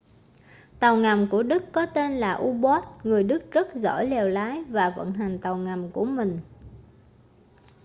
tàu ngầm của đức có tên là u-boat người đức rất giỏi lèo lái và vận hành tàu ngầm của mình